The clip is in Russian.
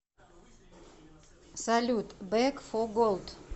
салют бек фо голд